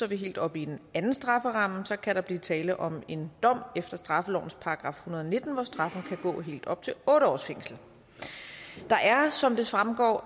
vi helt oppe i en anden strafferamme så kan der blive tale om en dom efter straffelovens § en hundrede og nitten hvor straffen kan gå helt op til otte års fængsel der er som det fremgår